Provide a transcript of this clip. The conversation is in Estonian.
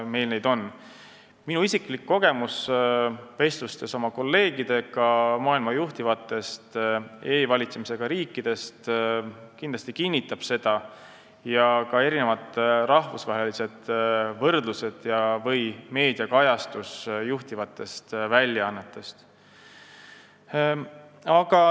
Seda kinnitavad minu isiklik kogemus ja vestlused oma kolleegidega maailma juhtivatest e-valitsemisega riikidest, samuti rahvusvahelised võrdlused või meediakajastus juhtivatest väljaannetest.